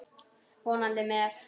Vonandi með.